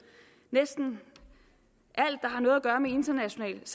næsten alt der har noget at gøre med internationalt